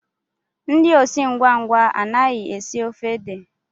Ndị osi ngwa ngwa anaghị esi ofe ede